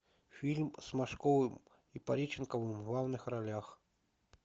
фильм с машковым и пореченковым в главных ролях